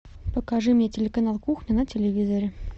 покажи мне телеканал кухня на телевизоре